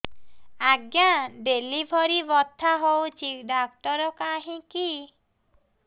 ଆଜ୍ଞା ଡେଲିଭରି ବଥା ହଉଚି ଡାକ୍ତର କାହିଁ କି